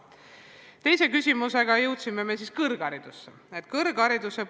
Teise küsimusega jõuame kõrghariduse juurde.